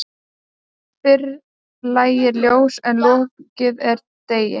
Fyrr lægir ljós en lokið er degi.